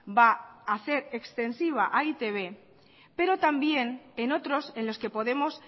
va a hacer extensiva a e i te be pero también en otros en los que podemos